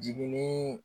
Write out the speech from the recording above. Jigini